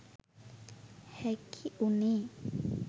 හැකි වුණේ.